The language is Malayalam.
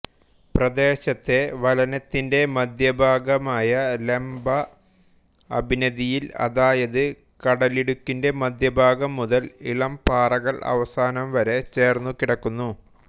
പ്രദേശത്തെ വലനത്തിന്റെ മധ്യഭാഗമായ ലംബ അഭിനതിയിൽ അതായത് കടലിടുക്കിൻറെ മധ്യഭാഗം മുതൽ ഇളം പാറകൾ അവസാനം വരെ ചേർന്നുകിടക്കുന്നു